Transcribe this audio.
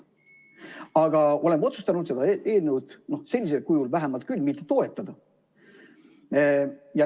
Aga oleme otsustanud seda eelnõu, vähemalt sellisel kujul, mitte toetada.